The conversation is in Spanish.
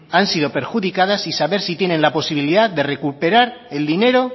han sido perjudicadas y saber si tienen la posibilidad de recuperar el dinero